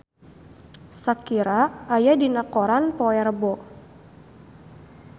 Shakira aya dina koran poe Rebo